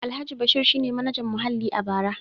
Alhaji Bashir shi ne Manajan Muhalli a bara.